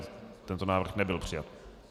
Tento návrh nebyl přijat.